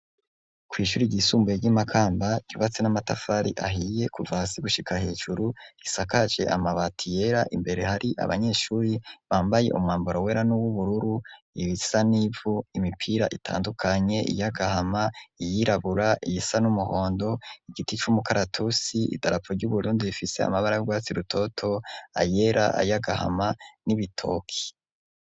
Ku ishuri ry'isumbuye ryi Imakamba ryubatse n'amatafari ahiye kuva hasi gushika hejuru risakaje amabati yera imbere hari abanyeshuri bambaye umwambaro wera nuwu bururu ibisa nivu imipira itandukanye iyagahama iyirabura iyisa n'umuhondo igiti c'umukaratusi idarapo ryu Burundi rifise amabara y'urwatsi rutoto ayera ayagahama n'ibitoki.